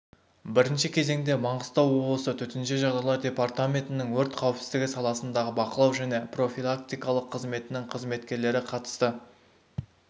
бірінші кезеңде маңғыстау облысы төтенше жағдайлар департаментінің өрт қауіпсіздігі саласындағы бақылау және профилактикалық қызметінің қызметкерлері қатысты